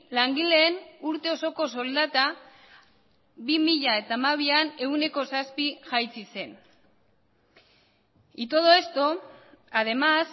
langileen urte osoko soldata bi mila hamabian ehuneko zazpi jaitsi zen y todo esto además